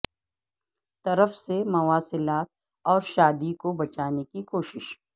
طرف سے مواصلات اور شادی کو بچانے کی کوششیں